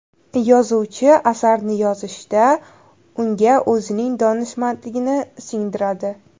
Yozuvchi asarni yozishda, unga o‘zining donishmandligini singdiradi.